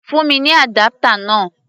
Fún mi ní adapter náà!